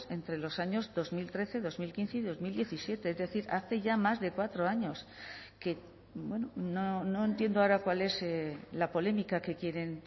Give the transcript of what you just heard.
entre los años dos mil trece dos mil quince y dos mil diecisiete es decir hace ya más de cuatro años que no entiendo ahora cuál es la polémica que quieren